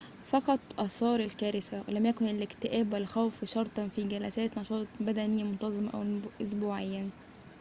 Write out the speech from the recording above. فقط آثار الكارثة ولم يكن الاكتئاب والخوف شرطًا في جلسات نشاط بدني منتظمة أسبوعياً